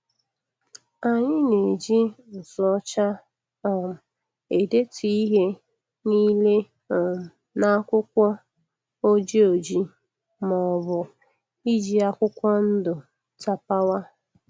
Anyị na-eji nzu ọcha um edetu ihe n'ile um n'akwụkwọ ojii ojii ma ọbụ iji akwụkwọ ndụ tapawa.